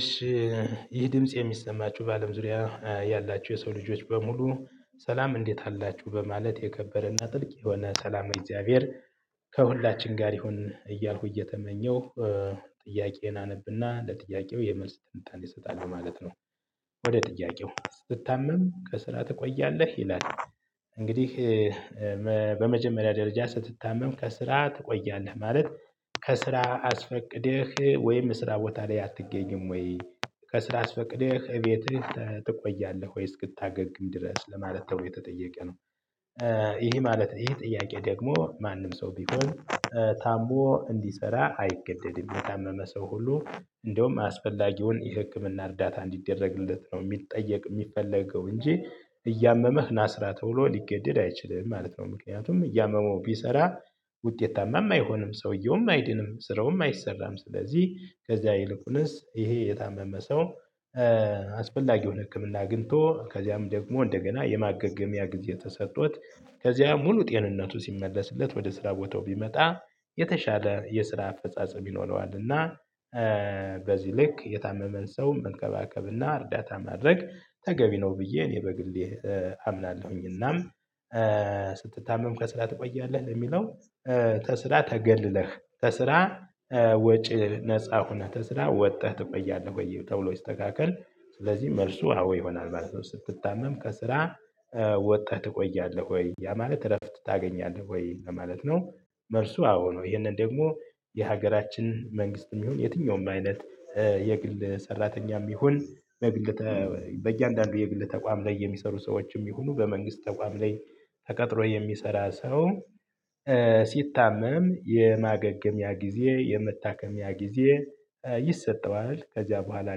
እሺ ይህ ድምጽ የሚሰማችሁ በአለም ዙሪያ ያላችሁ የሰው ልጆች በሙሉ ሰላም እንዴት አላችሁ በማለት የከበረና ጥልቅ የሆነ ሰላም እግዚአብሔር ከሁላችን ጋር ይሁን እያልኩ እየተመኘሁ ጥያቄዬን አነብና ለጥያቄው የመልስ ትንታን እሰጣለሁ ማለት ነው። ወደ ጥያቄው ስትታመም ከስራ ትቆያለህ? ይላል እንግዲህ በመጀመሪያ ደረጃ ስትታመም ከስራ ትቆያለህ ማለት ከስራ አስፈቅደህ ወይም ስራ ቦታ ላይ አትገኝም ወይ? ከስራ አስፈቅደህ ቤትህ ትቆያለህ ወይ እስክታገግም ድረስ? ለማለት ተብሎ የተጠየቀ ነው። ይሄ ማለት ይሄ ጥያቄ ደግሞ ማንም ሰው ቢሆን ታሞ እንዲሰራ አይገደድም የታመመ ሰው ሁሉ እንደውም አስፈላጊውን የህክምና እርዳታ እንዲደረግለት ነው የሚጠየቅ የሚፈለገው እንጂ እያመመህ ናስራ ተውሎ ሊገደድ አይችልም ማለት ነው ምክንያቱም እያመመው ቢሰራ ውጤታማ አይሆንም፣ ሰውየውም አይድንም፣ ስራውም አይሰራም፣ ስለዚህ ከዚያ ይልቁንስ ይሄ የታመመ ሰው አስፈላጊውን ህክምና አግኝቶ ከዚያም ደግሞ እንደገና የማገገሚያ ጊዜ ተሰጥቶት ከዚያ ሙሉ ጤንነቱ ሲመለስለት ወደ ስራ ቦታው ቢመጣ የተሻለ የስራ አፈጻጸም ይኖረዋል እና በዚህ ልክ የታመመን ሰው መንከባከብና እርዳታ ማድረግ ተገቢ ነው ብዬ እኔ በግሌ አምናለሁኝና ስትታመም ከስራህ ትቆያለህ ለሚለው ተስራ ተገልለህ ተስራ ወጪ ነፃ ሆነህ ተስራ ወጥተህ ትቆያለህ ወይ ተብሎ ይስተካከል ስለዚህ መልሱ አዎ ይሆናል ማለት ነው ስትታመም ከስራ ወጣህ ትቆያለህ ወይ ያ ማለት እረፍት ታገኛለህ ወይ ለማለት ነው መልሱ አዎ ነው ይሄንን ደግሞ የሀገራችን መንግስትም ይሁን የትኛውም አይነት የግል ሰራተኛም ይሁን በግል በእያንዳንዱ የግል ተቋም ላይ የሚሰሩ ሰዎችም ይሁኑ በመንግስት ተቋም ላይ ተቀጥሮ የሚሰራ ሰው ሲታመም የማገገምያ ጊዜ የመታከሚያ ጊዜ ይሰጠዋል ከዚያ በኋላ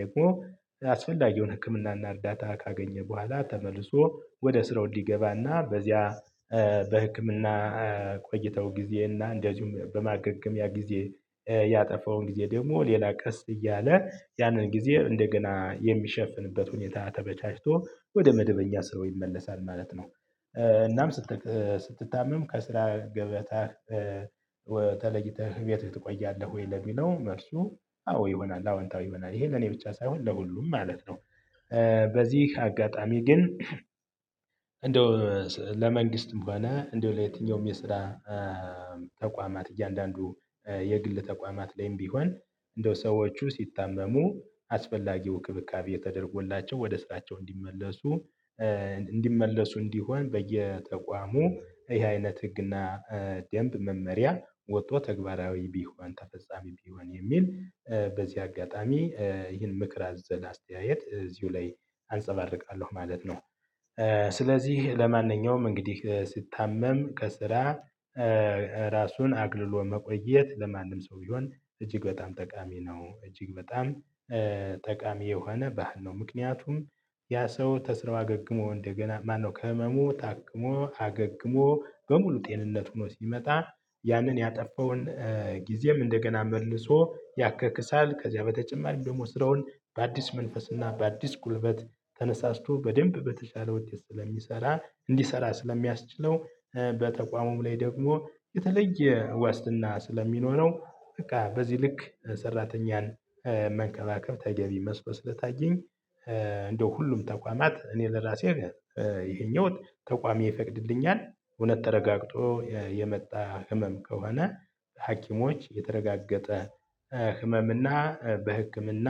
ደግሞ አስፈልጊውን ህክምናና እርዳታ ካገኘ በኋላ ተመልሶ ወደ ስራው እንዲገባና በዚያ በህክምና ቆይታው ጊዜ እና እንደዚሁም በማገገሚያ ጊዜ ያጠፋውን ጊዜ ደግሞ ሌላ ቀስ እያለ ያንን ጊዜ እንደገና የሚሸፍንበት ሁኔታ ተመቻችቶ ወደ መደበኛ ስራው ይመለሳል ማለት ነው እናም ስትታመም ከስራ ገበታ ተለይተህ እቤት ትቆያለህ ወይ ለሚለው መልሱ አዎ ይሆናል አዎ አንተ አዎ ይሆናል ይሄ ለኔ ብቻ ሳይሆን ለሁሉም ማለት ነው በዚህ አጋጣሚ ግን እንደው ለመንግስትም ሆነ እንደው ለየትኛውም የስራ ተቋማት እያንዳንዱ የግል ተቋማት ላይም ቢሆን እንደው ሰዎቹ ሲታመሙ አስፈላጊው እንክብካቤ የተደረጎላቸው ወደ ስራቸው እንዲመለሱ እንዲመለሱ እንዲሆን በየተቋሙ ይሄ አይነት ህግና ደንብ መመሪያ ወጥቶ ተግባራዊ ቢሆን ተፈጻሚ ቢሆን የሚል በዚህ አጋጣሚ ይህን ምክር አዘላ አስተያየት እዚሁ ላይ አንፀባርቃለሁ ማለት ነው ስለዚህ ለማንኛውም እንግዲህ ስታመም ከስራ ራሱን አግልሎ መቆየት ለማንም ሰው ቢሆን እጅግ በጣም ጠቃሚ ነው እጅግ በጣም ጠቃሚ የሆነ ባህል ነው ምክንያቱም ያ ሰው ተስራው አገግሞ እንደገና ማነው ከህመሙ ታክሞ፣ አገግሞ በሙሉ ጤንነት ሆኖ ሲመጣ ያንን ያጠፋውን ጊዜም እንደገና መልሶ ያካክሳል ከዚያ በተጨማሪም ደግሞ ስራውን በአዲስ መንፈስና በአዲስ ጉልበት ተነሳስቶ በደንብ በተቻለ ውጤት ስለሚሰራ እንዲሰራ ስለሚያስችለው በተቋሙም ላይ ደግሞ የተለየ ዋስትና ስለሚኖረው በቃ በዚህ ልክ ሰራተኛን መንከባከብ ተገቢ መስሎ ስለታየኝ እንደው ሁሉም ተቋማት እኔ ለራሴ ይሄኛው ተቋሚ ይፈቅድልኛል እውነት ተረጋግጦ የመጣ ህመም ከሆነ ሀኪሞች የተረጋገጠ ህመም እና በህክምና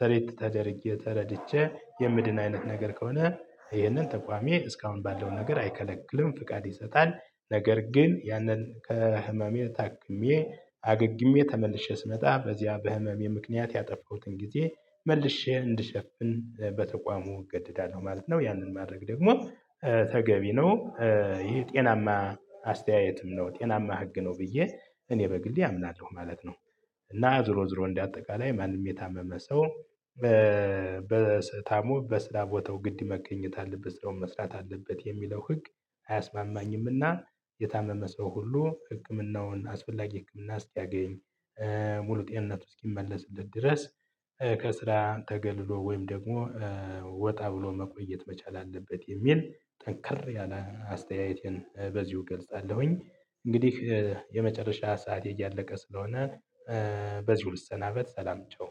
ትሪት ተደርጌ ተረድቼ የምድን አይነት ነገር ከሆነ ይህንን ተቋሚ እስካሁን ባለው ነገር አይከለክልም ፍቃድ ይሰጣል ነገር ግን ያንን ከህመሜ ታክሜ አገግሜ ተመልሼ ስመጣ በዚያ በህመሜ ምክንያት ያጠፋሁትን ጊዜ መልሼ እንድሸፍን በተቋሙ እገደዳለሁ ማለት ነው ያንን ማድረግ ደግሞ ተገቢ ነው ይሄ ጤናማ አስተያየትም ነው ጤናማ ህግ ነው ብዬ እኔ በግሌ አምናለሁ ማለት ነው እና ዝሮ ዝሮ እንደ አጠቃላይ ማንም የታመመ ሰው በታሞ በስራ ቦታው ግድ መገኘት አለበት ስራውን መስራት አለበት የሚለው ህግ አያስማማኝምና የታመመ ሰው ሁሉ ህክምናውን አስፈላጊ ህክምና እስኪያገኝ ሙሉ ጤንነት እስኪመለስለት ድረስ ከስራ ተገልሎ ወይም ደግሞ ወጣ ብሎ መቆየት መቻል አለበት የሚል ጠንከር ያለ አስተያየቴን በዚሁ ገልጻለሁኝ እንግዲህ የመጨረሻ ሰዓት እያለቀ ስለሆነ በዚሁ ልሰናበት ሰላም ቻው።